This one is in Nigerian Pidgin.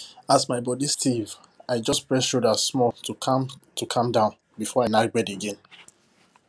as my body stiff i just press shoulder small to calm to calm down before i knack bed again